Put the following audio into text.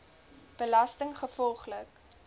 belastinggevolglik